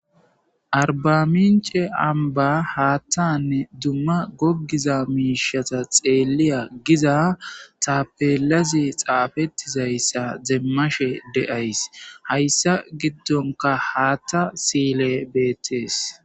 Arbamince amba haattanne dumma goggiza miishata xeeliya giza tapelazi xaafettizayssa zeemmashe de7ays hayssa giddonka haatta sile beettees.